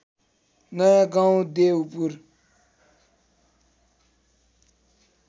नयाँ गाउँ देउपुर